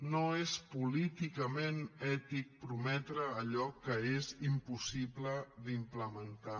no és políticament ètic prometre allò que és impossible d’implementar